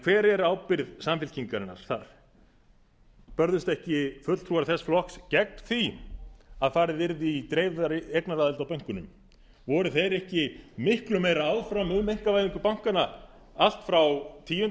hver er ábyrgð samfylkingarinnar þar börðust ekki fulltrúar þess flokks gegn því að farið yrði í dreifðari eignaraðild á bönkunum voru þeir ekki miklu meira áfram um einkavæðingu bankanna allt frá tíunda